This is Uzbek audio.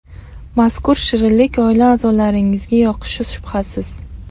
Mazkur shirinlik oila a’zolaringizga yoqishi shubhasiz.